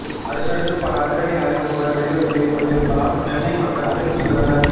அடுத்தடுத்து பல அதிரடி அறிவிப்புகள் வெளிவந்து கொண்டிருப்பதால் சென்னை மக்கள் அதிர்ச்சியில் உள்ளனர்